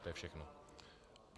To je všechno.